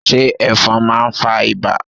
se efon ma fa iba?